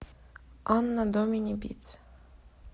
анно домини битс